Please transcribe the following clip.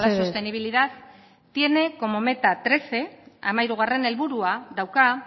sostenibilidad tiene como meta trece hamairugarrena helburua dauka